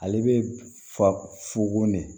Ale bɛ fa fuko ne